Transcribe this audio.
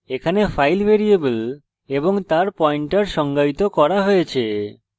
এখানে file variable এবং তার pointer সংজ্ঞায়িত করা হয়েছে